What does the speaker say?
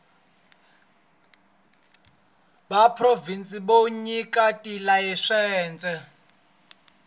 bya provhinsi byo nyika tilayisense